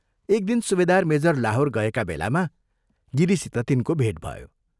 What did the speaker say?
एक दिन सुबेदार मेजर लाहोर गएका बेलामा गिरीसित तिनको भेट भयो।